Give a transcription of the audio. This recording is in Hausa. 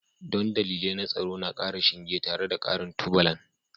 Don dalilai na tsaro na ƙara shinge tare da ƙarin tubalan